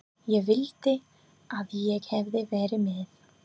Ég vildi að ég hefði verið með